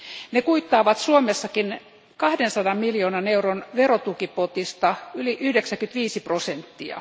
Ne kuittaavat Suomessakin 200 miljoonan euron verotukipotista yli 95 prosenttia.